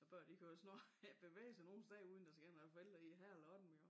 Børn de kan jo snart ikke bevæge sig nogen steder uden der skal nogen forældre i hver lomme jo